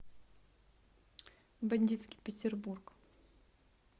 бандитский петербург